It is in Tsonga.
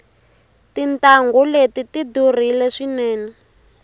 tintangu leti tidurile swinene